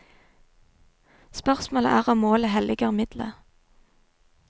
Spørsmålet er om målet helliger midlet.